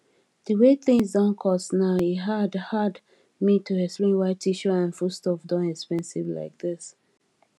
the way things don cost now e dey hard hard me to explain why tissue and foodstuff don expensive like this